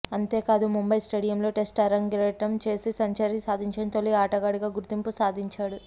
అంతేకాదు ముంబై స్టేడియంలో టెస్టు అరంగేట్రం చేసి సెంచరీ సాధించిన తొలి ఆటగాడిగా గుర్తింపు సాధించాడు